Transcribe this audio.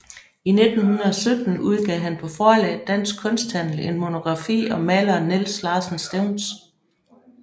I 1917 udgav han på forlaget Dansk Kunsthandel en monografi om maleren Niels Larsen Stevns